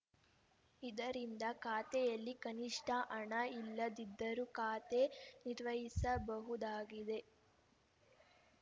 ಇದರಿಂದ ಖಾತೆಯಲ್ಲಿ ಕನಿಷ್ಠ ಹಣ ಇಲ್ಲದಿದ್ದರೂ ಖಾತೆ ನಿರ್ವಹಿಸಬಹುದಾಗಿದೆ